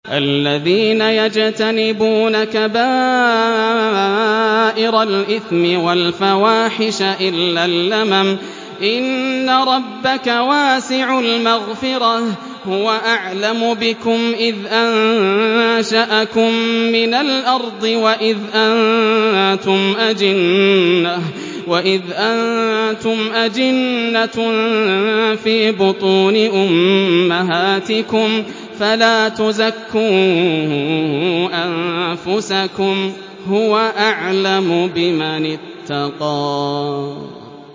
الَّذِينَ يَجْتَنِبُونَ كَبَائِرَ الْإِثْمِ وَالْفَوَاحِشَ إِلَّا اللَّمَمَ ۚ إِنَّ رَبَّكَ وَاسِعُ الْمَغْفِرَةِ ۚ هُوَ أَعْلَمُ بِكُمْ إِذْ أَنشَأَكُم مِّنَ الْأَرْضِ وَإِذْ أَنتُمْ أَجِنَّةٌ فِي بُطُونِ أُمَّهَاتِكُمْ ۖ فَلَا تُزَكُّوا أَنفُسَكُمْ ۖ هُوَ أَعْلَمُ بِمَنِ اتَّقَىٰ